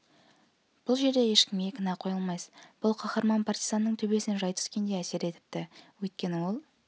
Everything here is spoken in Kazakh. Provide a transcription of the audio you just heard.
бұл жерде ешкімге кінә қоя алмайсыз бұл қаһарман партизанның төбесінен жай түскендей әсер етіпті өйткені ол